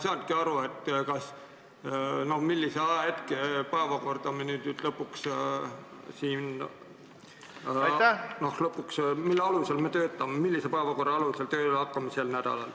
Ma ei saanudki aru, millise päevakorra alusel me siin nüüd lõpuks sel nädalal tööle hakkame?